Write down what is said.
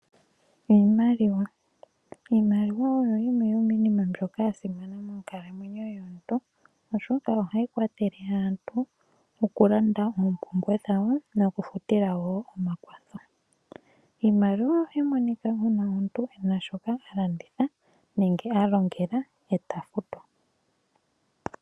Iimaliwa oyo yimwe yomiinima mbyoka yasimana monkalamwenyo yomuntu oshoka ohayi kwathele aantu okulanda ompumbwe dhawo nokufutila wo omakwatho. Iimaliwa ohayi monika uuna omuntu ena shoka alanditha nenge alongela eta fatwa.